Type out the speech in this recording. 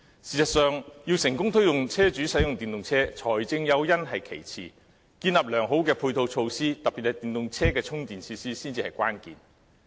事實上，要成功推動車主使用電動車，財政誘因是其次，建立良好的配套措施，特別是電動車的充電設施才是關鍵。